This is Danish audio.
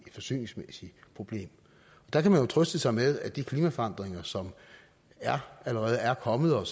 et forsyningsmæssigt problem der kan man jo trøste sig med at de klimaforandringer som allerede er kommet og